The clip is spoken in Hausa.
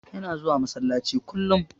Yana zuwa masallaci kullum.